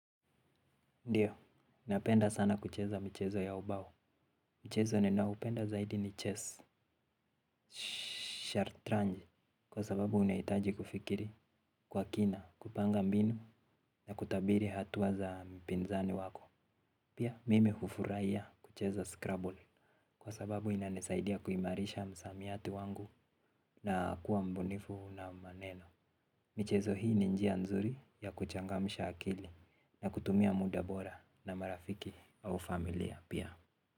Ndiyo, napenda sana kucheza michezo ya ubao. Mchezo ninaupenda zaidi ni chess, shartranji, kwa sababu unahitaji kufikiri kwa kina, kupanga mbinu na kutabiri hatua za mpinzani wako. Pia, mimi hufurahia kucheza scrubble, kwa sababu inanisaidia kuimarisha msamiati wangu na kuwa mbunifu na maneno. Michezo hii ni njia nzuri ya kuchangamsha akili na kutumia muda bora na marafiki au familia pia.